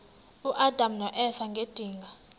uadam noeva ngedinga